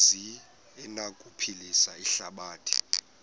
zi anokuphilisa ihlabathi